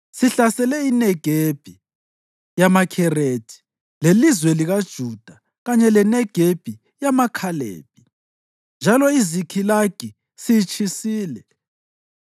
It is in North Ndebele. Sihlasele iNegebi yamaKherethi lelizwe likaJuda kanye leNegebi yamaKhalebi. Njalo iZikhilagi siyitshisile.”